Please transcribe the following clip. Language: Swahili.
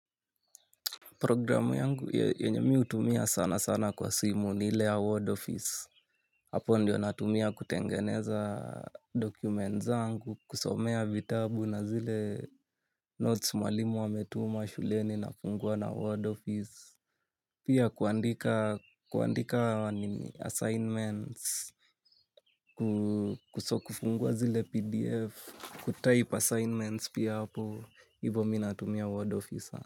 Programu yangu yenye mi hutumia sana sana kwa simu ni ile ya Word Office. Hapo ndiyo natumia kutengeneza document zangu kusomea vitabu na zile notes mwalimu ametuma shuleni nafungua na word office. Pia kuandika assignments, kuso kufungua zile PDF, kutype assignments pia hapo, hivo mi natumia Word Office sana.